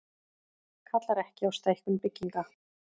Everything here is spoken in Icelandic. Kallar ekki á stækkun bygginga